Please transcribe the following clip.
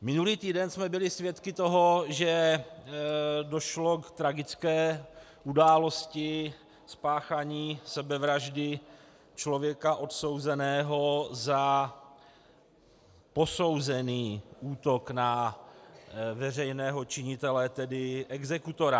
Minulý týden jsme byli svědky toho, že došlo k tragické události, spáchání sebevraždy člověka odsouzeného za posouzený útok na veřejného činitele, tedy exekutora.